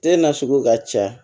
Den na sugu ka ca